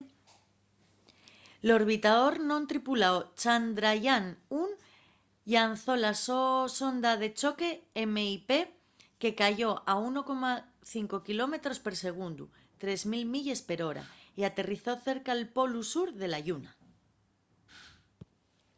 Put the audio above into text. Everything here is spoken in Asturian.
l'orbitador non tripuláu chandrayaan-1 llanzó la so sonda de choque mip que cayó a 1,5 km per segundu 3 000 milles per hora y aterrizó cerca'l polu sur de la lluna